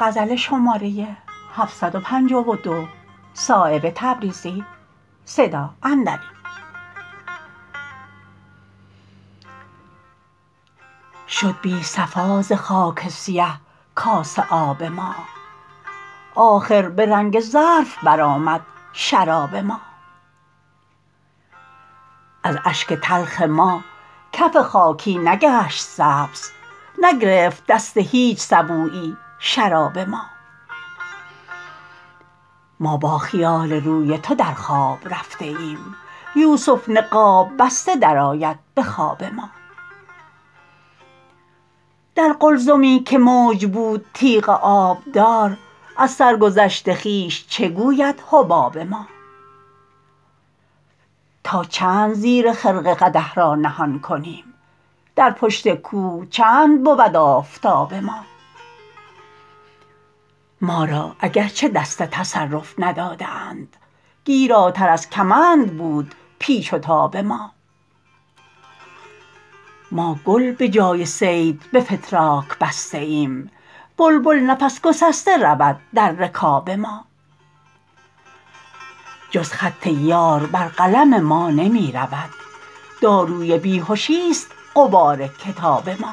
شد بی صفا ز خاک سیه کاسه آب ما آخر به رنگ ظرف برآمد شراب ما از اشک تلخ ما کف خاکی نگشت سبز نگرفت دست هیچ سبویی شراب ما ما با خیال روی تو در خواب رفته ایم یوسف نقاب بسته درآید به خواب ما در قلزمی که موج بود تیغ آبدار از سرگذشت خویش چه گوید حباب ما تا چند زیر خرقه قدح را نهان کنیم در پشت کوه چند بود آفتاب ما ما را اگر چه دست تصرف نداده اند گیراتر از کمند بود پیچ و تاب ما ما گل به جای صید به فتراک بسته ایم بلبل نفس گسسته رود در رکاب ما جز خط یار بر قلم ما نمی رود داروی بیهشی است غبار کتاب ما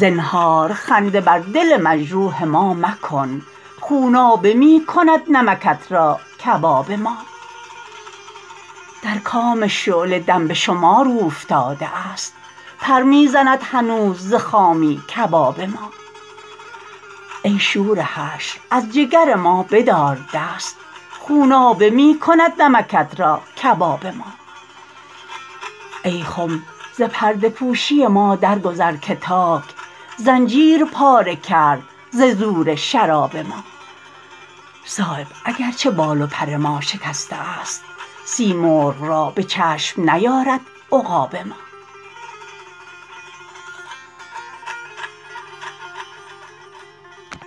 زنهار خنده بر دل مجروح ما مکن خونابه می کند نمکت را کباب ما در کام شعله دم به شمار اوفتاده است پر می زند هنوز ز خامی کباب ما ای شور حشر از جگر ما بدار دست خونابه می کند نمکت را کباب ما ای خم ز پرده پوشی ما در گذر که تاک زنجیر پاره کرد ز زور شراب ما صایب اگر چه بال و پر ما شکسته است سیمرغ را به چشم نیارد عقاب ما